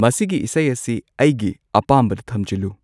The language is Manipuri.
ꯃꯁꯤꯒꯤ ꯏꯁꯩ ꯑꯁꯤ ꯑꯩꯒꯤ ꯑꯄꯥꯝꯕꯗ ꯊꯝꯖꯤꯜꯂꯨ